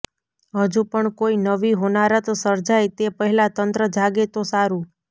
હજુ પણ કોઈ નવી હોનારત સર્જાય તે પહેલા તંત્ર જાગે તો સારું